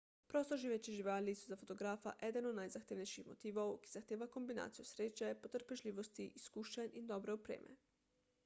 prostoživeče živali so za fotografa eden od najzahtevnejših motivov ki zahteva kombinacijo sreče potrpežljivosti izkušenj in dobre opreme